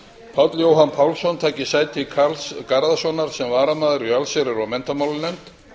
páll jóhann pálsson taki sæti karls garðarssonar sem varamaður í allsherjar og menntamálanefnd